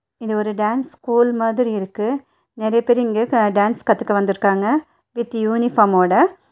இது ஒரு dance school மாதிரி இருக்கு நெறைய பேர் இங்கே க டேன்ஸ் கத்துக்க வந்திருக்காங்க வித் யூனிஃபார்ம் ஓட.